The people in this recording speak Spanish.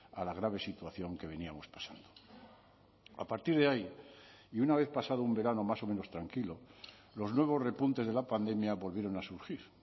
a la grave situación que veníamos pasando a partir de ahí y una vez pasado un verano más o menos tranquilo los nuevos repuntes de la pandemia volvieron a surgir